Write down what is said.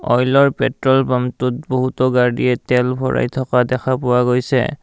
অইলৰ পেট্ৰল পাম্পটোত বহুতো গাড়ীয়ে তেল ভৰাই থকা দেখা পোৱা হৈছে।